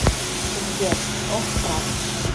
сбер ох правда